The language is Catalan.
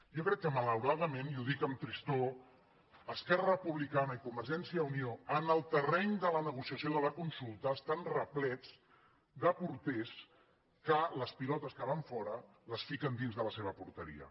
jo crec que malauradament i ho dic amb tristor es·querra republicana i convergència i unió en el ter·reny de la negociació de la consulta estan replets de porters que les pilotes que van fora les fiquen dins de la seva porteria